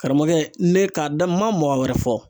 Karamɔgɔkɛ, ne k'a da n ma mɔgɔ wɛrɛ fɔ.